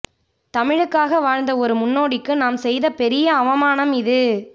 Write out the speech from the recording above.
தமிழுக்காக வாழ்ந்த ஒரு முன்னோடிக்கு நாம் செய்த பெரிய அவமானம் இது